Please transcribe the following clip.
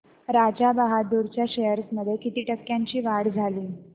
राजा बहादूर च्या शेअर्स मध्ये किती टक्क्यांची वाढ झाली